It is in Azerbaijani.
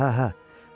Hə, hə.